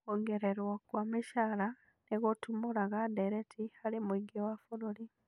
Kuongererwo kwa mĩcara nĩgũtumũraga ndereti harĩ mũingĩ wa bũrũri